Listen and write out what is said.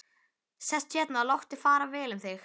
Sestu hérna og láttu fara vel um þig!